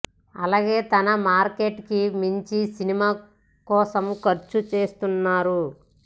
అలాగే తన మార్కెట్ కి మించి సినిమా కోసం ఖర్చు చేయిస్తున్నారు